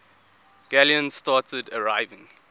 galleons started arriving